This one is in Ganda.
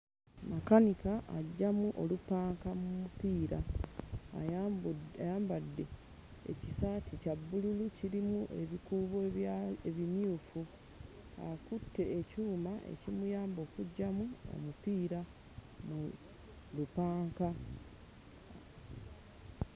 Makanika aggyamu olupanka mu mupiira. Ayambu ayambadde ekisaati kya bbululu kirimu ebikuubo ebimyufu, akutte ekyuma ekimuyamba okuggyamu omupiira mu lupanka.